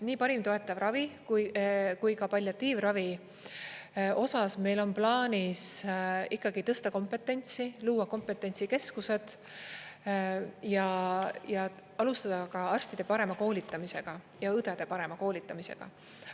Nii parima toetava ravi kui ka palliatiivravi osas meil on plaanis ikkagi tõsta kompetentsi, luua kompetentsikeskused ja alustada ka arstide parema koolitamisega ja õdede parema koolitamisega.